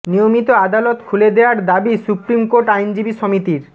নিয়মিত আদালত খুলে দেয়ার দাবি সুপ্রিম কোর্ট আইনজীবী সমিতির